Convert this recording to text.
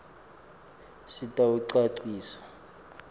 sitawucacisa